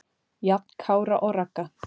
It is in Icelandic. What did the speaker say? Jafn Kára og Ragga.